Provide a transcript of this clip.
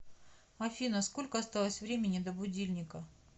афина сколько осталось времени до будильника